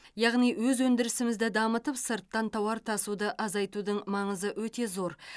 яғни өз өндірісімізді дамытып сырттан тауар тасуды азайтудың маңызы өте зор